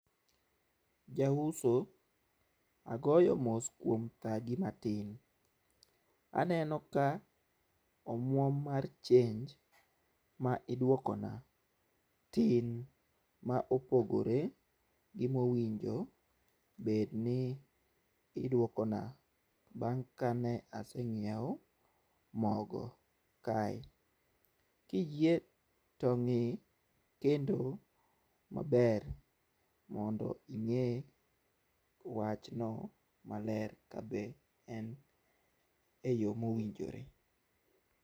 Jauso agoyo mos kuom thagi matin, aneno ka omwom mar chenj ma idwokona tin ma opogore gi mowinjo bed ni idwokona bang' kane aseng'iewo mogo kae. Kiyie to ng'i kendo maber mondo ing'e wachno maler kabe en e yoo mowinjore.